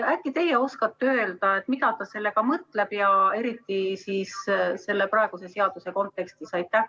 Äkki teie oskate öelda, mida ta sellega mõtleb, eriti selle praeguse seaduse kontekstis?